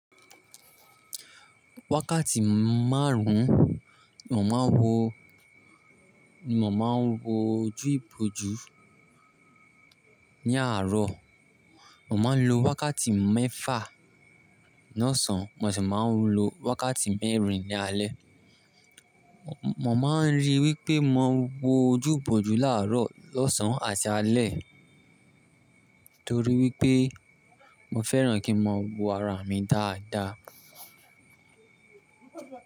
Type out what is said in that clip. Wákàtí márùn-ún, mo máa ń wo ojú ìbòjú ní àárọ̀, mo máa ń lo wákàtí mẹ́fà náà sàn, mo sì máa ń lo wákàtí mẹ́rin ní alé. Mo máa ń rí i wípé mo ń wo ojú ìbòjú láàárọ̀, lọ́sàn-án àti alẹ́ torí wípé mo fẹ́ràn kí n máa wo ara mi dáadáa.